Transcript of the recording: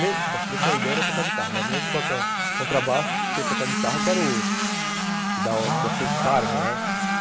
Bom, se bem que a ideia era tocar guitarra, não era nem tocar contrabaixo, porque tocar guitarra que era o... que da que ia ser o charme, né? uhum